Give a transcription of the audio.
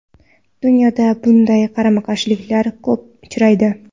Dunyoda bunday qarama-qarshiliklar ko‘p uchraydi.